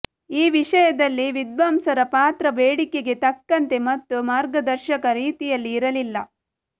ಈ ವಿಷಯದಲ್ಲಿ ವಿದ್ವಾಂಸರ ಪಾತ್ರ ಬೇಡಿಕೆಗೆ ತಕ್ಕಂತೆ ಮತ್ತು ಮಾರ್ಗದರ್ಶಕ ರೀತಿಯಲ್ಲಿ ಇರಲಿಲ್ಲ